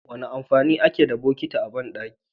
Wane amfani ake da botiki a bandaki?